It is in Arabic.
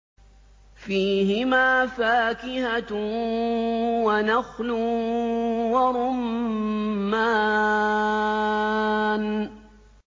فِيهِمَا فَاكِهَةٌ وَنَخْلٌ وَرُمَّانٌ